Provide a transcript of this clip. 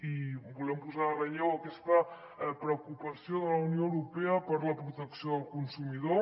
i volem posar en relleu aquesta preocupació de la unió europea per la protecció del consumidor